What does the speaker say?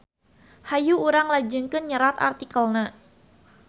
Hayu urang lajengkeun nyerat artikelna.